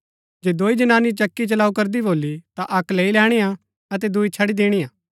जे दोई जनानी चक्की चलाऊँ करदी भोली ता अक्क लैई लैणी हा अतै दुई छड़ी दिणी हा